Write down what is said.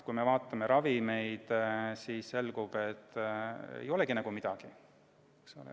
Kui vaatame ravimeid, siis selgub, et meil ei olegi nagu midagi.